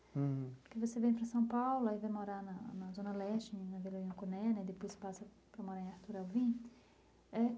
Porque você vem para São Paulo, aí vai morar na na Zona Leste, na Vila Nhocuné né, e depois passa para morar em Artur Alvim.